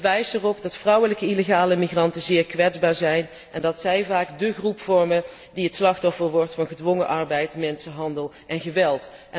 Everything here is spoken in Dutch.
Ik wijs erop dat vrouwelijke illegale migranten zeer kwetsbaar zijn en dat zij vaak dé groep vormen die het slachtoffer wordt van gedwongen arbeid, mensenhandel en geweld.